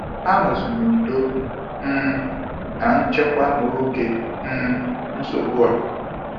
Ha nọzi n'udo um na nchekwa n'oge um nsogbu a.